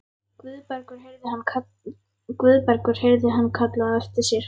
Guðbergur heyrði hann kallað á eftir sér.